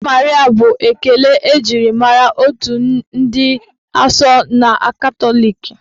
"Ave Maria" bụ ekele eji mara ndị otu Nne dị asọ n'ụka Katọlik.